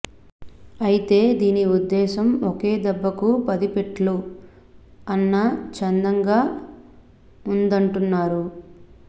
అయితే దీని ఉద్ధేశం ఒకే దెబ్బకు పది పిట్లలు అన్న చందంగా ఉందంటున్నారు